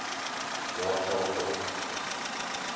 jaar geldelike hulp